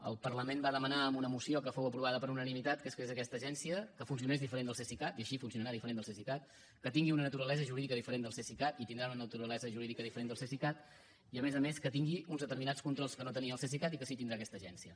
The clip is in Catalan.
el parlament va demanar amb una moció que fou aprovada per unanimitat que es creés aquesta agència que funcionés diferent del cesicat i així funcionarà diferent del cesicat que tingui una naturalesa jurídica diferent del cesicat i tindrà una naturalesa jurídica diferent del cesicat i a més a més que tingui uns determinats controls que no tenia el cesicat i que sí que tindrà aquesta agència